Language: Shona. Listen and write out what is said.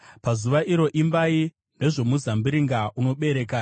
Pazuva iro, “Imbai nezvomuzambiringa unobereka: